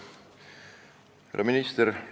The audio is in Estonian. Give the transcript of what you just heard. Härra minister!